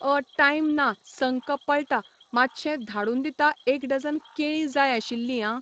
अ time ना संक पळता मातशें धाडून दिता एक डजन केळीं जाय आशिल्लीं आं